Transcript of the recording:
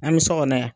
An bɛ so kɔnɔ yan